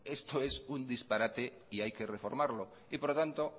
esto es un disparate y hay que reformarlo y por lo tanto